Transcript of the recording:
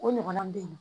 O ɲɔgɔnna bɛ yen nɔ